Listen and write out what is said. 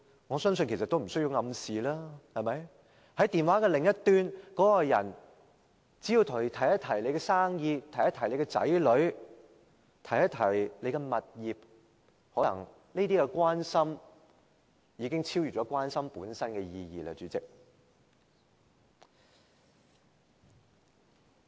我相信其實無需暗示，只要電話另一端的那個人提及你的生意、子女、物業，這些關心可能已經超越關心本身的意義了，主席。